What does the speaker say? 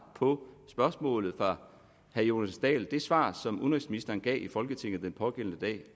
på spørgsmålet fra herre jonas dahl det svar som udenrigsministeren gav i folketinget den pågældende